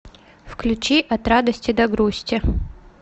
включи от радости до грусти